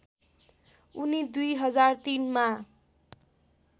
उनी २००३मा